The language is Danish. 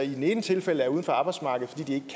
ene tilfælde er uden for arbejdsmarkedet fordi